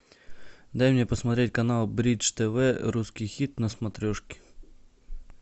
дай мне посмотреть канал бридж тв русский хит на смотрешке